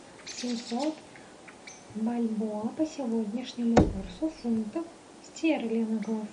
семьсот бальбоа по сегодняшнему курсу в фунтах стерлингов